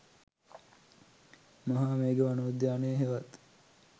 මහා මේඝ වනෝද්‍යානය හෙවත්